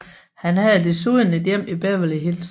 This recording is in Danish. Han havde desuden et hjem i Beverly Hills